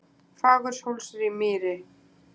Fagurhólsmýri